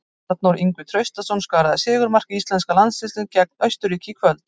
Arnór Ingvi Traustason skoraði sigurmark íslenska landsliðsins gegn Austurríki í kvöld.